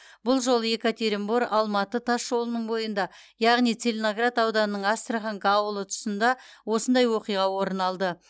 бұл жолы екатеринбор алматы тас жолының бойында яғни целиноград ауданының астраханка ауылы тұсында осындай оқиға орын алды